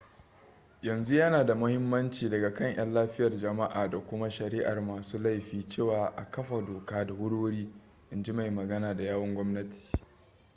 yanzu yana da mahimmanci daga kan 'yan lafiyar jama'a da kuma shari'ar masu laifi cewa a kafa doka da wuri-wuri in ji mai magana da yawun gwamnati